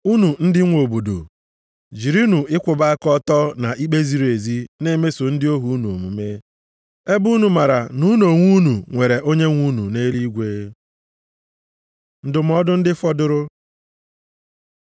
Unu ndị nwe odibo, jirinụ ịkwụba aka ọtọ na ikpe ziri ezi na-emeso ndị ohu unu omume, ebe unu maara na unu onwe unu nwere onyenwe unu nʼeluigwe. Ndụmọdụ ndị fọdụrụ